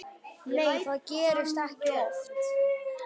Nei það gerist ekki oft.